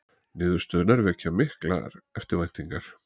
Niðurstöðurnar vekja miklar eftirvæntingar.